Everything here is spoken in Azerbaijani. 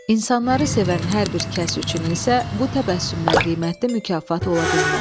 İnsanları sevən hər bir kəs üçün isə bu təbəssümdən qiymətli mükafat ola bilməz.